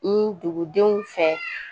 Ni dugudenw fɛ